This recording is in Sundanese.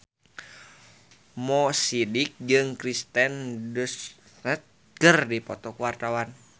Mo Sidik jeung Kirsten Dunst keur dipoto ku wartawan